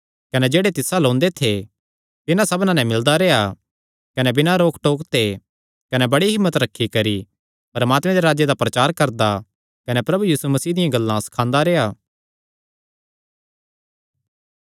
कने जेह्ड़े तिस अल्ल ओंदे थे तिन्हां सबना नैं मिलदा रेह्आ कने बिना रोकटोक ते कने बड़ी हिम्मत रखी करी परमात्मे दे राज्जे दा प्रचार करदा कने प्रभु यीशु मसीह दियां गल्लां सखांदा रेह्आ